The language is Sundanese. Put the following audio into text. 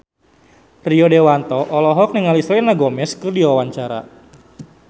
Rio Dewanto olohok ningali Selena Gomez keur diwawancara